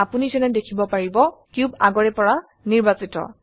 আপোনি যেনে দেখিব পাৰিব কিউব আগৰে পৰা নিৰ্বাচিত